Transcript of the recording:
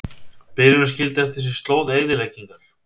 Bylurinn skildi eftir sig slóð eyðileggingar